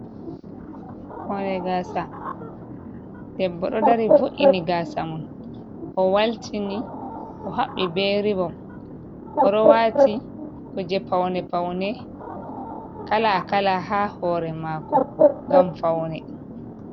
Hoore gaasa, debbo ɗo dari vo''ini gaasa mum.O waltini o haɓɓii be rivom ,o ɗo waati kuje pawne pawne kala kala haa hoore maako ngam fawne.